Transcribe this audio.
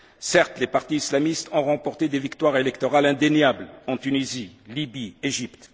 Certes, les partis islamistes ont remporté des victoires électorales indéniables en Tunisie, en Libye, en Égypte.